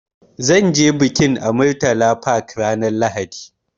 Zan ce bikin a Murtala Park ranar Lahadi.